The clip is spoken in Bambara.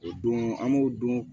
O don an b'o don